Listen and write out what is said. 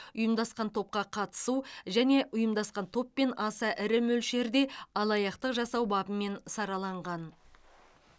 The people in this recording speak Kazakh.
ұйымдасқан топқа қатысу және ұйымдасқан топпен аса ірі мөлшерде алаяқтық жасау бабымен сараланған